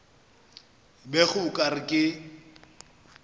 bego o ka re ke